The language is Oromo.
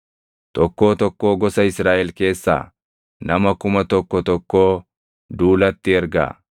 Tokkoo tokkoo gosa Israaʼel keessaa nama kuma tokko tokkoo duulatti ergaa.”